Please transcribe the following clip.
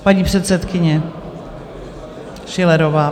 Paní předsedkyně Schillerová.